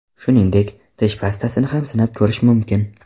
Shuningdek, tish pastasini ham sinab ko‘rish mumkin.